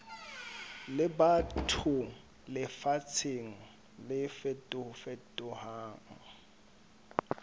le batho lefatsheng le fetofetohang